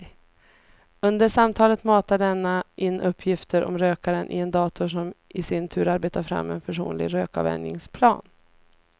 Under samtalet matar denna in uppgifter om rökaren i en dator som i sin tur arbetar fram en personlig rökavvänjningsplan.